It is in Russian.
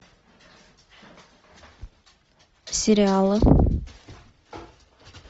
сериалы